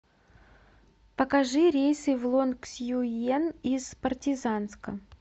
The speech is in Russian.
покажи рейсы в лонгсюен из партизанска